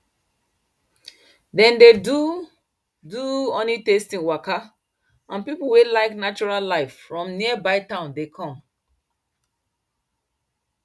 dem dey do do honeytasting waka and people wey like natural life from nearby town dey come